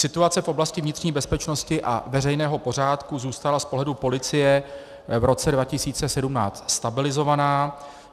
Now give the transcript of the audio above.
Situace v oblasti vnitřní bezpečnosti a veřejného pořádku zůstala z pohledu policie v roce 2017 stabilizovaná.